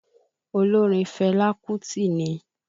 Olóorin Fẹlá Kútì ni.